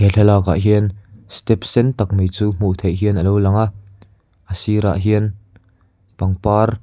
thlalakah hian step sen tak mai chu hmuh theih hian alo lang a a sir ah hian pangpar--